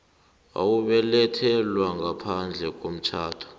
owabelethelwa ngaphandle komtjhado